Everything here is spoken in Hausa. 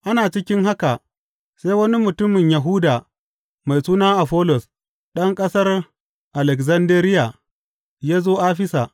Ana cikin haka sai wani mutumin Yahuda mai suna Afollos, ɗan ƙasar Alekzandariya, ya zo Afisa.